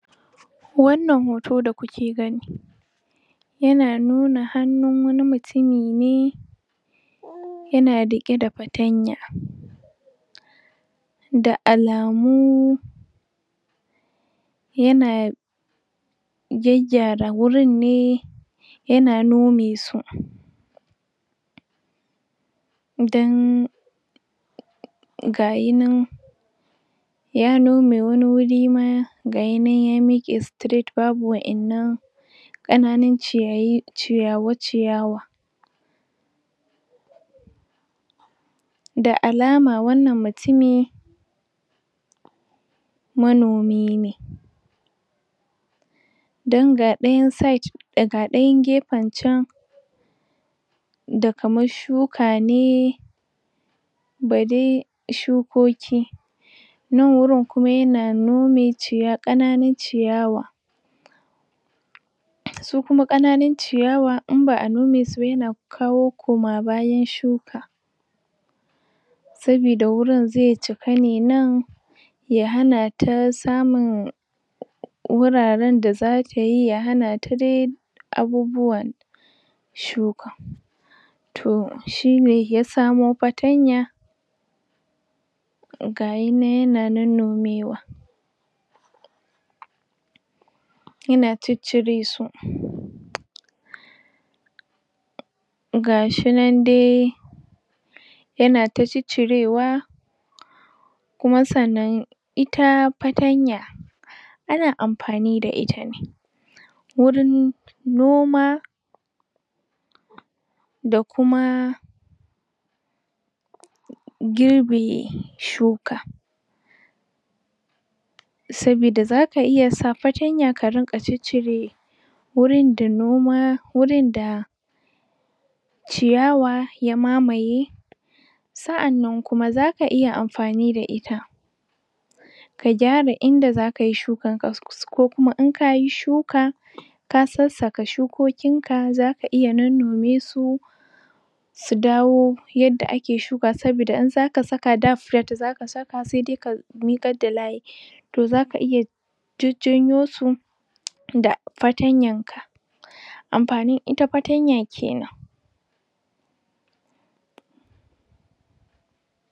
Wannan hoto da kuke gani yana nuna hannun wani mutumi ne yana rike da fatanya da alamu yana gaggyara wurin ne yana nome su dan gashi nan ya nome wani wuri ma gashi nan ya mike straight babu wayan nan kananun ciyayi ciyawa ciyawa da alama wannan mutumi manomi ne dan ga dayan site da ga dayan gefen can da kamar tsuka ne da dai tsukoki nan wurin kuma yana nome ciya kananun ciyawa su kuma kananun ciyawa in ba a nome su ba yana kawo koma bayan tsuka sabida wurin zai cika ne nan ya hana ta samun wuraren da za tayi ya hana ta dai abubuwa tsuka toh shine ya samo fatanya gayi nan yana nonnomewa yana ciccire su gashi nan dai yana ta ciccirewa kuma sannan ita fatanya ana amfani da ita ne wurin noma da kuma girbe tsuka sabida zaka iya sa fatanya ka rinka ciccire wurin da noma wurin da ciyawa ya mamaye sa anan kuma zaka iya amfani da ita ka gyara inda zaka yi tsukan ka so ko kuma in kayi tsuka ka sassaka tsukokin ka zaka iya nonnome su su dawo yadda ake tsuka sabida in zaka saka da? zaka saka sai dai ka mikar da layin so zaka iya jajjanyo su da fatanyan amfanin ita fatanya kenan